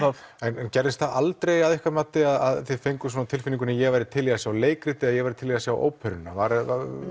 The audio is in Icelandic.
en gerðist það aldrei að ykkar mati að þið fenguð á tilfinninguna ég væri til í að sjá leikritið eða ég væri til í að sjá óperuna söknuðuð